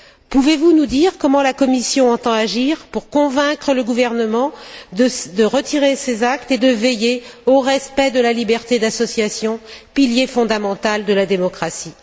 Pouvez vous nous dire comment la Commission entend agir pour convaincre le gouvernement de retirer ces actes et de veiller au respect de la liberté d'association, pilier fondamental de la démocratie?